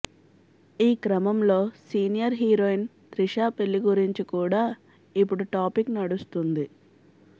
ఈ క్రమంలో senior heroine Trisha పెళ్లి గురించి కూడా ఇప్పుడు టాపిక్ నడుస్తుంది